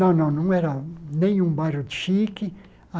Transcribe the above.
Não, não, não era nenhum bairro chique.